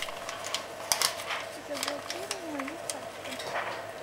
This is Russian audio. заблокируй мою карту